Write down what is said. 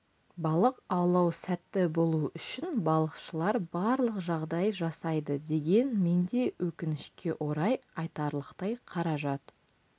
балық аулау сәтті болу үшін балықшылар барлық жағдай жасайды деген мен де өкінішке орай айтарлықтай қаражат